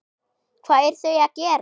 Hvað eru þau að gera?